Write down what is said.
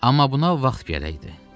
Amma buna vaxt gərəkdi.